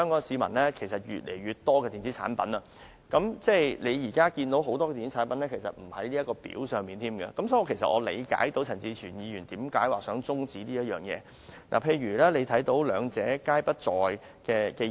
市面上越來越多電子產品，但很多電子產品都不在《條例》的列表上，所以我理解陳志全議員為何想中止討論這項決議案。